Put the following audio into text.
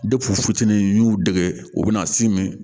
fitinin n'u dege u be na s'i min ma